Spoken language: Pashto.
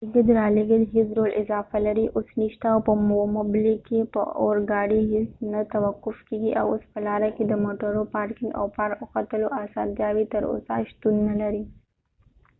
د لېږد رالېږد هیڅ ډول اضافه لارې اوس نشته او په ومبلي کې به اورګاډي هیڅ نه توقف کېږي او اوس په لاره کې د موټرو پارکینګ او پارک او ختلو آسانتیاوې تر اوسه شتون نلري